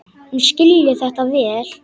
Hún skilji þetta vel.